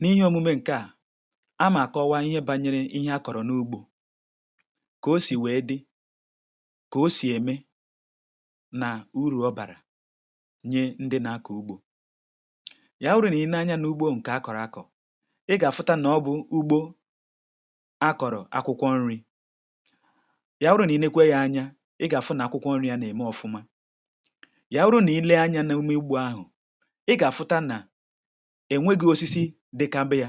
N’ihe omume ǹke à, amà àkọwa ihe bȧnyere ihe akọ̀rọ̀ n’ugbȯ; ko sì wèe dị, ko sì ème nà uru̇ ọ bàrà nye ndị na-akọ̀ ugbȯ. Ya wụrụ nà i nee anya n’ugbȯ ǹkè akọ̀rọ̀ akọ̀, ị gà-àfụta nà ọ bụ̇ ugbo akọ̀rọ̀ akwụkwọ nri̇, ya wụrụ nà i nekwe ya anya, ị gà-àfụ nàkwụkwọ nri̇ ya nà-ème ọfụma, ya wụrụ nà i lee anyȧ n’imugbȯ ahụ̀, ị gà-àfụta nà ènweghi̇ osisi dikambeya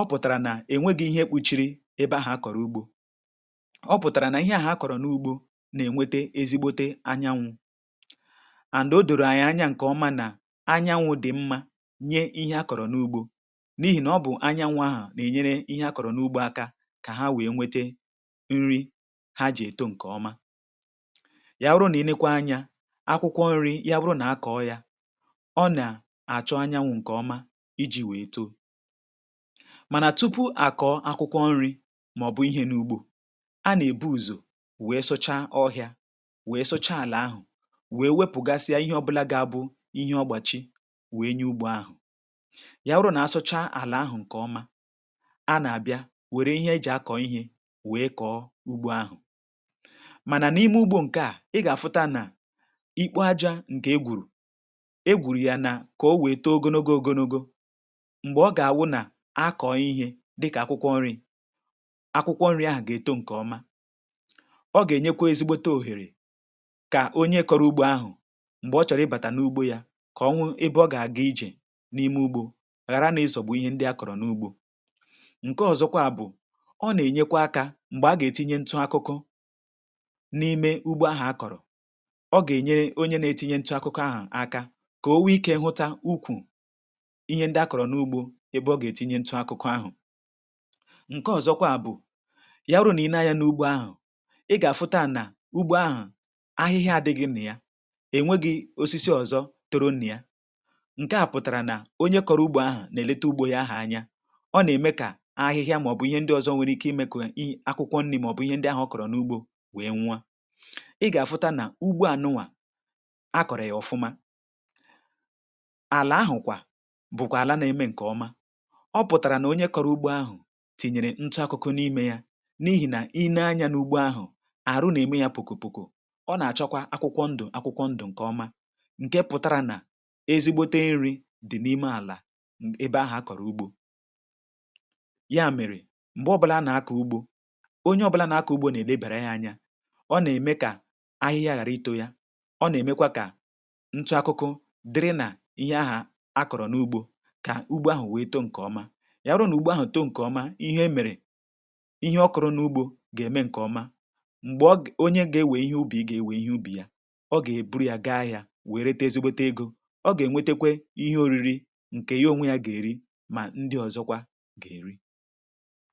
ọ pụ̀tàrà nà-ènweghi̇ ihe ekpuchiri ebe ahụ̀ akọ̀rọ̀ ugbȯ ọ pụ̀tàrà nà ihe à hà akọ̀rọ̀ n’ugbȯ nà-ènwete ezigbote anyanwụ̇ and o dòrò ànyà ǹkè ọma nà anyanwụ̇ dị̀ mmȧ nye ihe akọ̀rọ̀ n’ugbȯ n’ihì nà ọ bụ̀ anyanwụ̇ ahụ̀ nà-ènyere ihe akọ̀rọ̀ n’ugbȯ aka kà ha wèe nwete nri ha jì èto ǹkè ọma yà bụrụ nà ịnekwa anyȧ akwụkwọ nri ya bụrụ nà akọ̀ọ yȧ ọ na-achọ anyanwụ nkọọma iji̇ wèe too. Mànà tupu àkọ̀ akwụkwọ nri̇ màọ̀bụ̀ ihe n’ugbȯ, a nà-èbu ùzò wèe sụcha ọhịȧ wèe sụcha àlà ahụ̀, wèe wepụ̀gasịa ihe ọbụla gaa bụ ihe ọgbàchị wèe nye ugbȯ ahụ̀. Ya wụrụ nà-asụcha àlà ahụ̀ ǹkè ọma, a nà-àbịa wère ihe e jì akọ̀ ihė wèe kọ̀ọ ugbȯ ahụ̀. Mànà n’ime ugbȯ ǹke a, ị gà-àfụta nà ikpoȧja ǹkè egwùrù, e gwuru ya na kowee toogonogo ogonogo, m̀gbè ọ gà-àwụ nà akọ̀ ihe dịkà akwụkwọ nni̇, akwụkwọ nni̇ ahà gà-eto ǹkè ọma, ọ gà-ènyekwa ezigbote òhèrè kà onye kọrọ ugbȯ ahụ̀, m̀gbè ọ chọ̀rọ̀ ịbàtà n’ugbȯ ya kà ọhụ ebe ọ gà-àga ijè n’ime ugbȯ ghara nà ịzọ̀gbu ihe ndị akọ̀rọ̀ n’ugbȯ. Nke ọzọkwa a bụ̀ ọ nà-ènyekwa akȧ m̀gbè a gà-ètinye ntụ akụkụ n’ime ugbo ahụ̀ akọ̀rọ̀, ọ gà-ènyere onye nà-ètinye ntụ akụkụ ahụ̀ aka ka o nwike hụta ukwu ihe ndị akọrọ n’ugbo ebe ọ gà-ètinye ntụ akụkụ ahụ̀. Nke ọ̀zọkwa bụ̀, yawụrụ nà ị ne-anya n’ugbo ahụ̀, ị gà-àfụta nà ugbo ahụ̀ ahịhịa àdịgị nịa, ènwegị osisi ọ̀zọ toro nịa. Nke à pụ̀tàrà nà onye kọrọ ugbo ahụ̀ nà-èlete ugbȯ yȧ anya. Ọ nà-ème kà ahịhịa màọ̀bụ̀ ihe ndị ọ̀zọ nwere ike imė kà ị akwụkwọ nri̇ màọ̀bụ̀ ihe ndị ahụ̀ kọrọ n’ugbȯ wèe nwụa. Ị gà-àfụta nà ugbo ànụwà a kọ̀rọ̀ yà ọfụma. Ala ahụkwa, bùkwààla na-eme ǹkè ọma. Ọ pụ̀tàrà nà onye kọ̀rọ̀ ugbo ahụ̀ tìnyèrè ntụ akụkụ n’imė ya, n’ihì nà i nee anyȧ n’ugbo ahụ̀, àrụ nà-ème ya poko poko, ọ nà-àchakwa akwụkwọ ndụ̀ akwụkwọ ndụ̀ ǹkè ọma nke pụ̀tara nà ezigbote nri̇ dì n’ime àlà ebe ahụ̀ akọ̀rọ̀ ugbȯ. Ya mèrè, m̀gbe ọbụ̇là a nà-akọ̀ ugbȯ, onye ọbụ̇là nà-akọ̀ ugbȯ nà-èlebàrà ya anya, ọ nà-ème kà ahịhịa ghàra itȯ ya, ọ nà-èmekwa kà ntụ akụkụ dịrị nà ihe aha akọrọ nụgbọ ka ugbo ahụ̀ wèe too ǹkè ọma. Yawụrụ nà ụgbọ ahụ̀ too ǹkè ọma, ihe emèrè ihe ọ kụrụ n’ugbȯ gà-ème ǹkè ọma. mMgbè ọ ge onye gà-èwè ihe ubì gà-èwè ihe ubì yà, ọ gà-èburu yȧ gaa ahịȧ wèe reta ezigbote egȯ, ọ gà-ènwetekwe ihe òriri ǹkè yo onwe yȧ gà-èri mà ndị ọ̀zọkwa gà-èri.